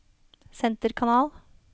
senterkanal